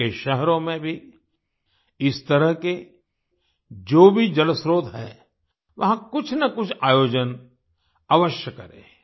आपके शहरों में भी इस तरह के जो भी जलस्त्रोत हैं वहां कुछनकुछ आयोजन अवश्य करें